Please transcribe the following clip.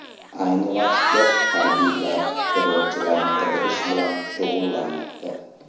Ayni vaqtda harbiylar terrorchilarni qidirish bilan shug‘ullanmoqda.